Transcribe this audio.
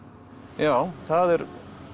já það er